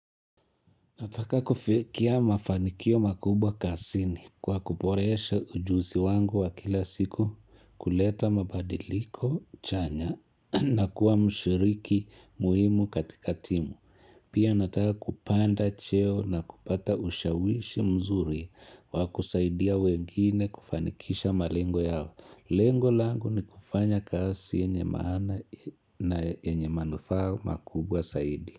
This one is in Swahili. Nataka kufikia mafanikio makubwa kasini kwa kuporesha ujuzi wangu wa kila siku kuleta mabadiliko chanya na kuwa mshiriki muhimu katika timu. Pia nataka kupanda cheo na kupata ushawishi mzuri wa kusaidia wengine kufanikisha malengo yao. Lengo langu ni kufanya kasi yenye maana na enye manufaa makubwa saidi.